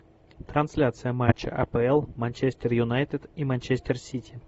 трансляция матча апл манчестер юнайтед и манчестер сити